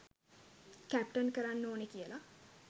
Captain කරන්න ඕනෙ කියලා.